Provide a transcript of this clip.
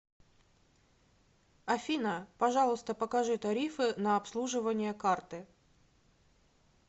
афина пожалуйста покажи тарифы на обслуживание карты